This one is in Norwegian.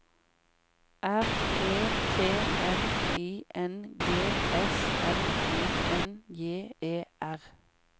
R E T N I N G S L I N J E R